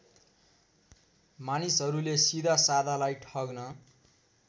मानिसहरूले सिधासाधालाई ठग्न